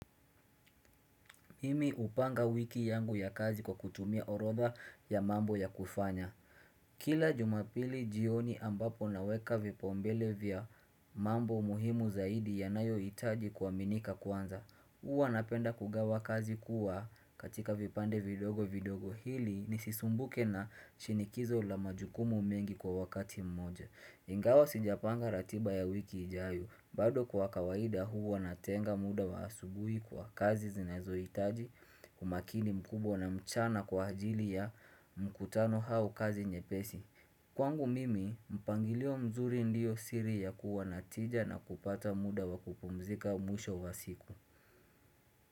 Mimi upanga wiki yangu ya kazi kwa kutumia orotha ya mambo ya kufanya. Kila jumapili jioni ambapo naweka vipaumbele vya mambo muhimu zaidi yanayohitaji kuaminika kwanza Huwa napenda kugawa kazi kuwa katika vipande vidogo vidogo hili nisisumbuke na shinikizo la majukumu mengi kwa wakati mmoja. Ingawa sijapanga ratiba ya wiki ijayo, bado kwa kawaida huwa natenga muda wa asubuhi kwa kazi zinazoitaji umakini mkubwa na mchana kwa ajili ya mkutano au kazi nyepesi. Kwangu mimi, mpangilio mzuri ndiyo siri ya kuwa na tija na kupata muda wa kupumzika mwisho wa siku.